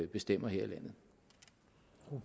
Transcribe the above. bestemmer her